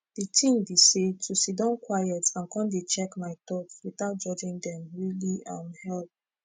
de tin be say to siddon quiet and con dey check my thoughts without judging dem really um help